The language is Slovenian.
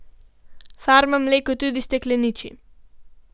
Farma mleko tudi stekleniči.